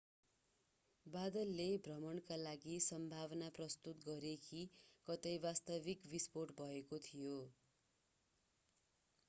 बादलले भ्रमका लागि सम्भावना प्रस्तुत गरे कि कतै वास्तविक बिस्फोट भएको थियो